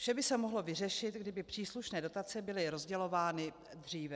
Vše by se mohlo vyřešit, kdyby příslušné dotace byly rozdělovány dříve.